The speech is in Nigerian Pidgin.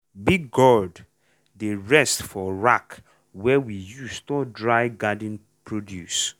big gourd dey rest for rack wey we use store dry garden produce.